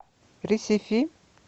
ресифи